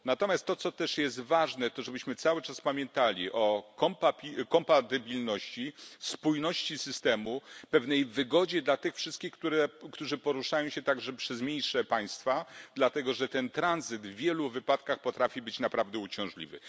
Natomiast to, co też jest ważne, to żebyśmy cały czas pamiętali o kompatybilności, spójności systemu, pewnej wygodzie dla tych wszystkich, którzy poruszają się także przez mniejsze państwa, dlatego że ten tranzyt w wielu wypadkach potrafi być naprawdę uciążliwy.